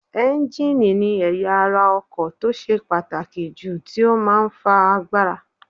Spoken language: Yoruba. Ẹ́ńjíìnì ni ẹ̀yà ara ọkọ̀ tó ṣe pàtàkì jù tí ó máa ń fa agbára